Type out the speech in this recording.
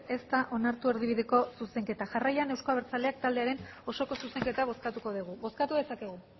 ez da onartu erdibideko zuzenketa jarraian euzko abertzaleak taldearen osoko zuzenketa bozkatuko dugu bozkatu dezakegu